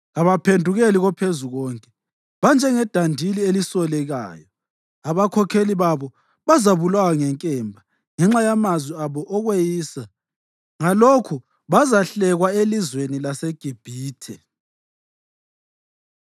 Kabaphendukeli koPhezukonke banjengedandili elisolekayo. Abakhokheli babo bazabulawa ngenkemba ngenxa yamazwi abo okweyisa. Ngalokhu bazahlekwa elizweni laseGibhithe.”